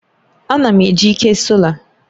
Ana m eji ike sola